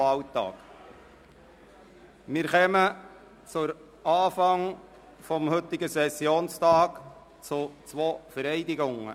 Wir kommen zu Beginn des heutigen Sessionstages zu zwei Vereidigungen.